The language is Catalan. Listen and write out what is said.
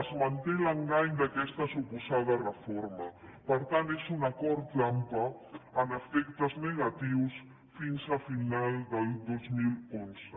es manté l’engany d’aquesta suposada reforma per tant és un acord trampa amb efectes negatius fins a finals del dos mil onze